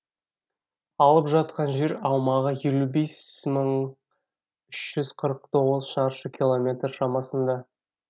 алып жатқан жер аумағы елу бес мың үш жүз қырық тоғыз шаршы километр шамасында